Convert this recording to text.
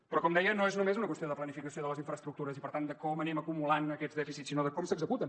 però com deia no és només una qüestió de planificació de les infraestructures i per tant de com anem acumulant aquests dèficits sinó de com s’executen